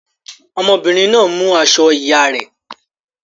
Ọmọbìnrin náà mú aṣọ ìyá rẹ̀.